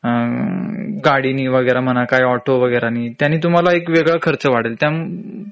गाडीनी वगैरे म्हणा काय ऑटो वगैरेने त्यांनी तुमहाला एक वेगळा खर्च वाढेल